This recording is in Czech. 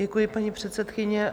Děkuji, paní předsedkyně.